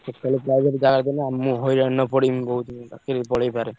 କେତବେଳେ private ଜାଗାଟା ନା ମୁଁ ହଇରାଣରେ ପଡିବି କହୁଛି। ମୋ ଚାକିରିବି ପଳେଇପାରେ।